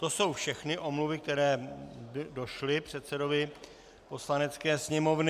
To jsou všechny omluvy, které došly předsedovi Poslanecké sněmovny.